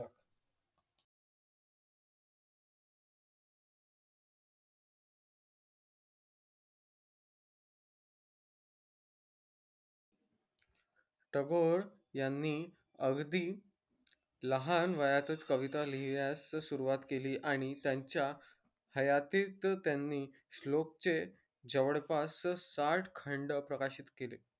टागोर यांनी अगदी लहान वयातच कविता लिहिण्यास सुरवात केली आणि त्यांच्या हयातीत त्यांनी श्लोक चे जवळ पास सात खंड प्रकाशित केले